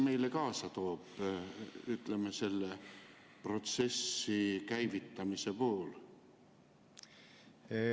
Mis selle protsessi käivitamine meile kaasa toob?